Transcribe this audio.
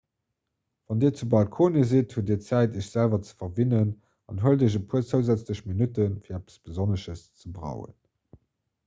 wann dir zu balkonie sidd hutt dir zäit iech selwer ze verwinnen an huelt iech e puer zousätzlech minutten fir eppes besonnesches ze brauen